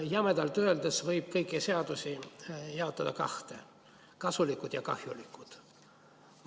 Jämedalt öeldes võib kõiki seadusi jaotada kahte: kasulikud ja kahjulikud.